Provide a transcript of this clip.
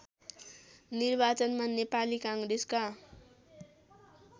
निर्वाचनमा नेपाली काङ्ग्रेसका